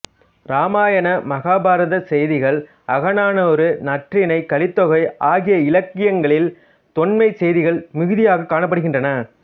இராமயண மகாபாரத செய்திகள் அகநானூறு நற்றிணை கலித்தொகை ஆகிய இலக்கியங்களில் தொன்மச் செய்திகள் மிகுதியாகக் காணப்படுகின்றன